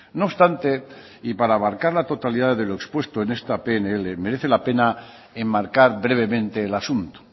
no obstante y para abarcar la totalidad de lo expuesto en esta pnl merece la pena enmarcar brevemente el asunto